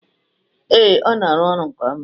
Ee, ọ na-arụ ọrụ nke ọma.